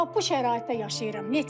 Bax bu şəraitdə yaşayıram.